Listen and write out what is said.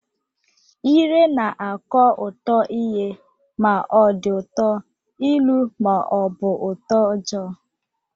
Ire na-akọ ụtọ ihe ma ọ dị ụtọ, ilu ma ọ bụ utoojoo